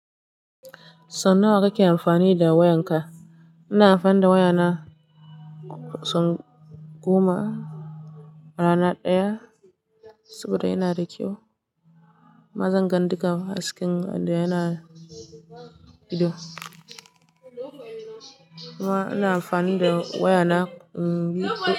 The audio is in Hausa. So nawa kake amfani da wayanka? Ina amfani da wayana sau goma a rana ɗaya saboda yana da kyau. Mazan gandika hasken da yana ido. Nima ina amfani da wayana biyu.